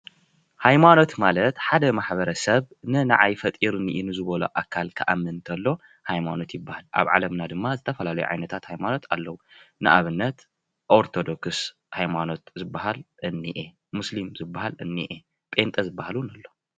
ሃይማኖት ማለት ሓደ ማሕበረሰብ ንናዓይ ፈጢሩኒ እዩ ንዝበሎ አካል ክአምን ከሎ ሃይማኖት ይበሃል፡፡ አብ ዓለምና ድማ ዝተፈላለዩ ዓይነታት ሃይማኖት አለው፡፡ ንአብነት ኦርቶዶክስ ሃይማኖት ዝበሃል እኒአ፣ ሙስሊም ዝበሃል እኒአ፣ ጴንጤ ዝበሃል እውን አሎ፡፡